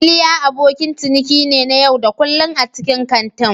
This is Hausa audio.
Iliya abokin ciniki ne na yau da kullun a cikin kantin.